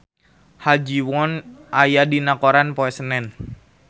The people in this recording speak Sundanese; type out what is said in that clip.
Ha Ji Won aya dina koran poe Senen